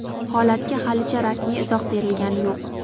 Holatga halicha rasmiy izoh berilgani yo‘q.